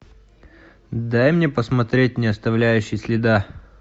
дай мне посмотреть не оставляющий следа